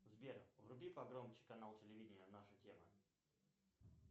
сбер вруби погромче канал телевидения наша тема